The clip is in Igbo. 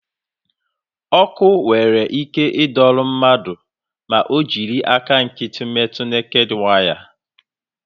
Ọkụ nwere ike ịdọrọ mmadụ ma ọ jiri aka nkịtị metu neked waya.